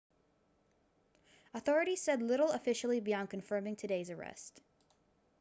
authorities said little officially beyond confirming today's arrest